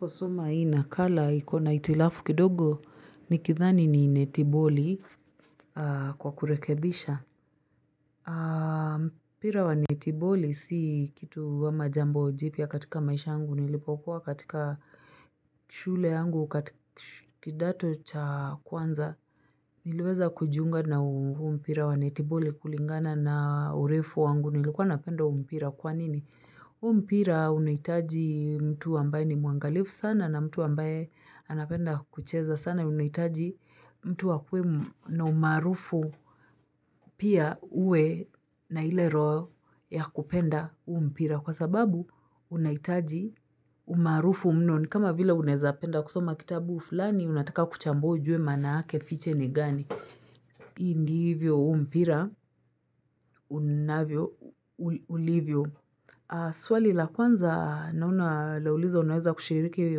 Kusoma hii nakala iko na hitilafu kidogo nikidhani ni netiboli kwa kurekebisha. Mpira wa netiboli si kitu ama jambo jipya katika maisha yangu. Nilipokuwa katika shule yangu katika kidato cha kwanza. Niliweza kujiunga na huu mpira wa netiboli kulingana na urefu wangu. Nilikuwa napenda huu mpira kwa nini? Huu mpira unahitaji mtu ambaye ni mwangalifu sana na mtu ambaye anapenda kucheza sana unahitaji mtu akuwe na umaarufu pia uwe na ile roho ya kupenda huu mpira kwa sababu unahitaji umaarufu mno ni kama vila unaweza penda kusoma kitabu fulani, unataka kuchambua ujue maana yake fiche ni gani. Hii ndivyo huu mpira unavyo, ulivyo. Swali la kwanza naona lauliza unaweza kushiriki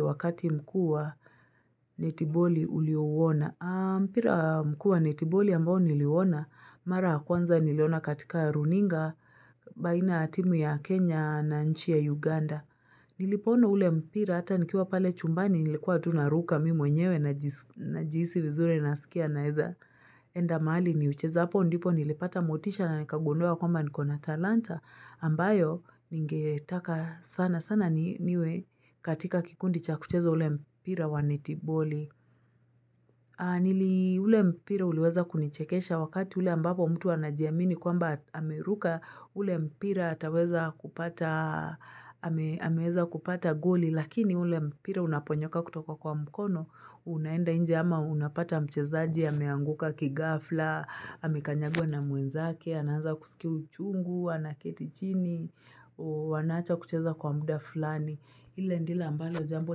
wakati mkuu wa netiboli uliouona. Mpira mkuu wa netiboli ambao niliouona mara ya kwanza nilioona katika runinga baina ya timu ya Kenya na nchi ya Uganda. Nilipoona ule mpira hata nikiwa pale chumbani nilikuwa tu naruka mimi mwenyewe najihisi vizuri nasikia nawezaenda mahali niucheza. Hapo ndipo nilipata motisha na nikagundua kwamba niko na talanta ambayo ningetaka sana sana niwe katika kikundi cha kucheza ule mpira wa netiboli. Nili, ule mpira uliweza kunichekesha wakati ule ambapo mtu anajiamini kwamba ameruka ule mpira, ataweza kupata ameweza kupata goli lakini ule mpira unaponyoka kutoka kwa mkono. Unaenda nje ama unapata mchezaji ameanguka kighafla, amekanyagwa na mwenzake, anaanza kusikia uchungu, anaketi chini, wanaacha kucheza kwa muda fulani. Ile ndilo ambalo jambo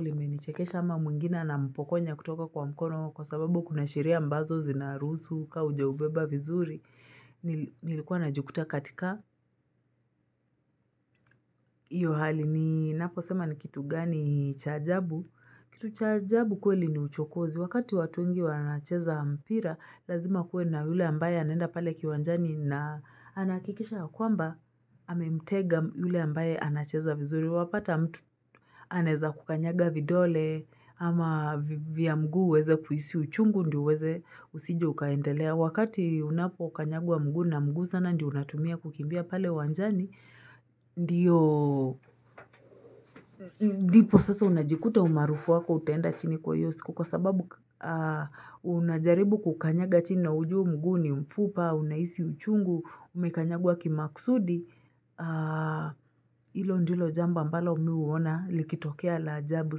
limenichekesha ama mwingina anampokonya kutoka kwa mkono kwa sababu kuna sheria ambazo zinaruhusu ka haujaubeba vizuri. Nilikuwa najikuta katika. Hiyo hali, ninapo sema ni kitu gani cha ajabu. Kitu cha ajabu kweli ni uchokozi. Wakati watu wengi wanacheza mpira, lazima kuwe na yule ambaye anaenda pale kiwanjani na anahakikisha ya kwamba, amemtega yule ambaye anacheza vizuri. Wapata mtu anaweza kukanyaga vidole ama vya mguu uweze kuhisi uchungu ndiyo uweze, usije ukaendelea. Wakati unapokanyagwa mguu na mguu sana ndiyo unatumia kukimbia pale wanjani, ndiyo ndipo sasa unajikuta umaarufu wako utaenda chini kwa hiyo siku. Kwa sababu unajaribu kukanyaga chini na ujue huu mguu ni mfupa, unahisi uchungu, umekanyagwa kimaksudi. Hilo ndilo jambo ambalo mimi huona likitokea la ajabu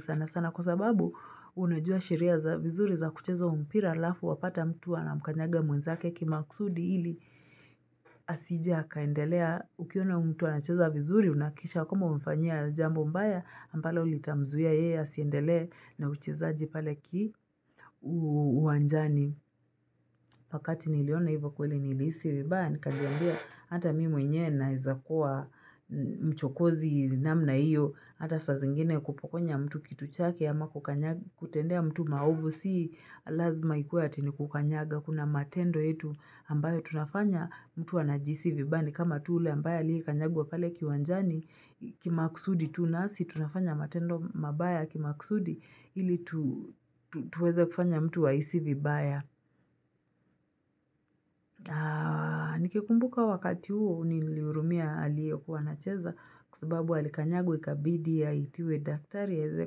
sana sana. Kwa sababu, unajua sheria vizuri za kuchezo huu mpira halafu wapata mtu anamkanyaga mwenzake kimakusudi ili asije akaendelea. Ukiona huu mtu anacheza vizuri, unahakikisha kwamba umemfanyia jambo mbaya, ambalo litamzuia yeye asiendele na uchezaji pale uwanjani. Wakati niliona hivyo kweli nilihisi vibaya nikajiambia hata mimi mwenyewe naweza kuwa mchokozi namna hiyo, hata saa zingine kupokonya mtu kitu chake ama kukanyaga kutendea mtu maovu, si lazima ikuwe ati ni kukanyaga, kuna matendo yetu ambayo tunafanya mtu anajihisi vibaya ni kama tu ule ambaye aliyekanyagwa pale kiwanjani kimakusudi tu, nasi tunafanya matendo mabaya kimakusudi ili tuweze kufanya mtu ahisi vibaya Nikikumbuka wakati huo uniliruhumia aliyekuwa anacheza kwa sababu alikanyagwa ikabidi aitiwe daktari aweze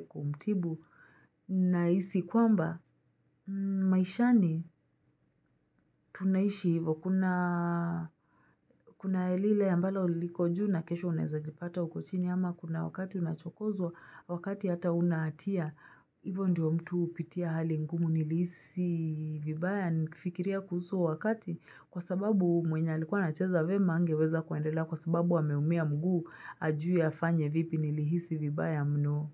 kumtibu. Nahisi kwamba maishani tunaishi hivo Kuna lile ambalo liko juu na kesho unawezajipata uko chini ama kuna wakati unachokozwa wakati hata huna hatia Hivo ndiyo mtu hupitia hali ngumu, nilihisi vibaya nifikiria kuhusu huo wakati kwa sababu mwenye alikuwa anacheza vyema hangeweza kuendelea kwa sababu ameumia mguu hajui afanye vipi, nilihisi vibaya mno.